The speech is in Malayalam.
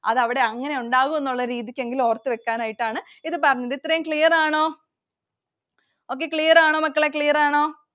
അത് അവിടെ അങ്ങനെ ഉണ്ടാവും എന്നുള്ള രീതിക്ക് എങ്കിലും ഓർത്തുവെക്കാനായിട്ടാണ് ഇത് പറഞ്ഞത്. ഇത്രയും clear ആണോ? Okay, clear ആണോ മക്കളെ clear ആണോ?